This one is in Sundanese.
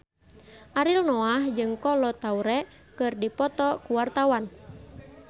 Ariel Noah jeung Kolo Taure keur dipoto ku wartawan